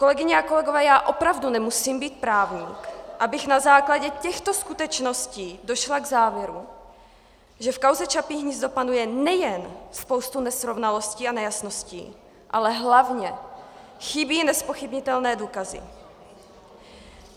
Kolegyně a kolegové, já opravdu nemusím být právník, abych na základě těchto skutečností došla k závěru, že v kauze Čapí hnízdo panuje nejen spousta nesrovnalostí a nejasností, ale hlavně chybí nezpochybnitelné důkazy.